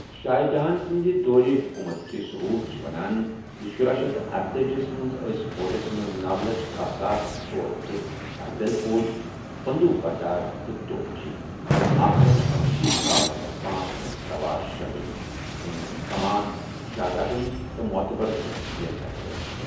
شاہ جہان سٕندِ دورِ حُکوٗمَتٕکہِ ثٔبوٗت چھِ ونان زِ شُراہ شیتھ ارتأجی ہس منٛز ٲسہِ فوجس منٛز نۄَ لچھ کاہ ساس ژٗۄرہتھَ پیدل فوجی، بٔنٛدوٗق بردار تہٕ توپچی تہٕ اکھ لچھ پنشیٖتھ ساس پانژہ ہتھَ سووار شٲمِل، یِمن ہٕنٛز كمان شہزادن تہٕ معتبرشخصن اَتھِہِ ٲس۔